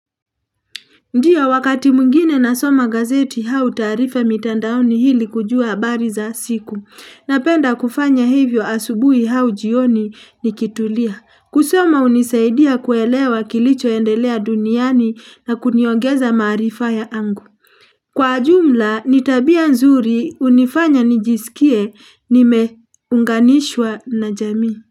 Ndiyo wakati mwingine na soma gazeti au taarifa mitandaoni hili kujua habari za siku. Napenda kufanya hivyo asubuhi au jioni nikitulia. Kusoma unisaidia kuelewa kilicho endelea duniani na kuniogeza marifa ya angu. Kwa jumla ni tabia nzuri unifanya nijisikie nime unganishwa na jamii.